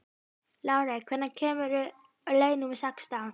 Lárey, hvenær kemur leið númer sextán?